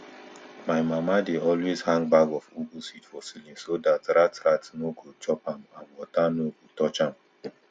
my mama dey always hang bag of ugu seed for ceiling so dat rat rat nor go chop am and water nor go touch am